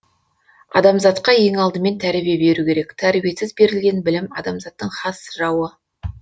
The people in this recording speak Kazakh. адамзатқа ең алдымен тәрбие беру керек тәрбиесіз берілген білім адамзаттың хас жауы